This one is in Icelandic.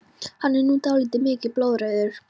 Hann er nú dálítið mikið blóðrauður!